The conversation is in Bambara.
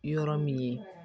Yɔrɔ min ye